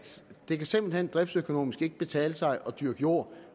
det simpelt hen driftsøkonomisk ikke kan betale sig at dyrke jord